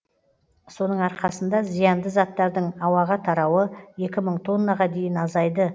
соның арқасында зиянды заттардың ауаға тарауы екі мың тоннаға дейін азайды і